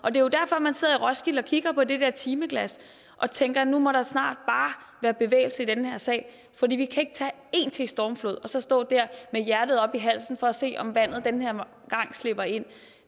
er jo derfor man sidder i roskilde og kigger på det der timeglas og tænker at nu må der snart være bevægelse i den her sag for vi kan ikke tage en stormflod mere og så stå der med hjertet oppe i halsen for at se om vandet den her gang slipper ind